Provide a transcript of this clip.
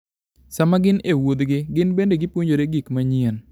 Sama gin e wuodhgi, gin bende gipuonjore gik manyien.